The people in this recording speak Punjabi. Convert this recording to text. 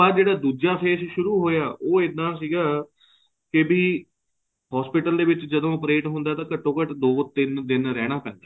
ਉਸ ਤੋਂ ਬਾਅਦ ਜਿਹੜਾ ਦੁੱਜਾ face ਸ਼ੁਰੂ ਹੋਇਆ ਉਹ ਇਹਨਾਂ ਸੀਗਾ ਕੇ ਭੀ hospital ਚ ਜਦੋਂ operate ਹੋਇਆ ਤਾਂ ਘੱਟੋ ਘੱਟ ਦੋ ਤਿੰਨ ਦਿਨ ਰਹਿਣਾ ਪੈਂਦਾ